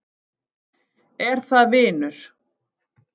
Er það vinur